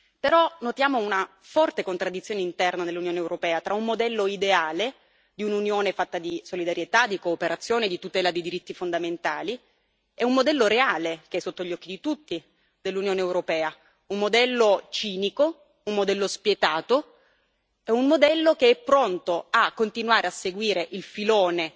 Però notiamo una forte contraddizione interna nell'Unione europea tra un modello ideale, di un'Unione fatta di solidarietà, di cooperazione, di tutela dei diritti fondamentali, e un modello reale, che è sotto gli occhi di tutti, dell'Unione europea un modello cinico, un modello spietato, un modello che è pronto a continuare a seguire il filone